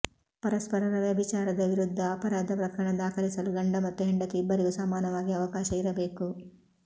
ಪರಸ್ಪರರ ವ್ಯಭಿಚಾರದ ವಿರುದ್ಧ ಅಪರಾಧ ಪ್ರಕರಣ ದಾಖಲಿಸಲು ಗಂಡ ಮತ್ತು ಹೆಂಡತಿ ಇಬ್ಬರಿಗೂ ಸಮಾನವಾಗಿ ಅವಕಾಶ ಇರಬೇಕು